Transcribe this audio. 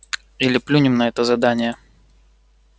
или плюнем на это задание